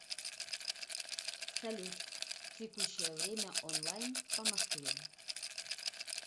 салют текущее время онлайн по москве